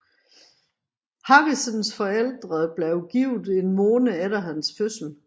Harrisons forældre blev gift en måned efter hans fødsel